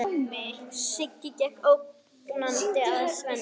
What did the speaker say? Siggi gekk ógnandi að Svenna.